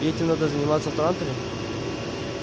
и этим надо заниматься в транторе